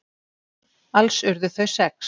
Alls urðu þau sex.